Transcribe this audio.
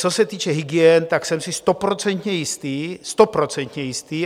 Co se týče hygien, tak jsem si stoprocentně jistý, stoprocentně jistý!